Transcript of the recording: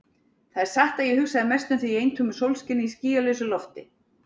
Það er satt að ég hugsaði mest um þig í eintómu sólskini, í skýlausu lofti.